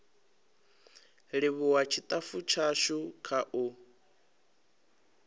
livhuwa tshitafu tshashu kha u